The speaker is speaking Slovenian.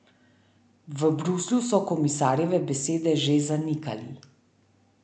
V Bruslju so komisarjeve besede že zanikali.